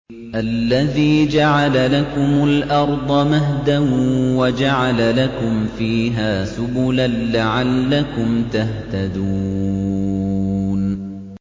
الَّذِي جَعَلَ لَكُمُ الْأَرْضَ مَهْدًا وَجَعَلَ لَكُمْ فِيهَا سُبُلًا لَّعَلَّكُمْ تَهْتَدُونَ